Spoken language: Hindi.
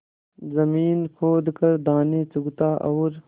जमीन खोद कर दाने चुगता और